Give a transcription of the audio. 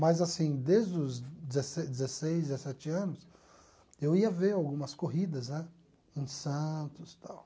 Mas assim, desde os dezesseis dezesseis, dezessete anos, eu ia ver algumas corridas né em Santos tal.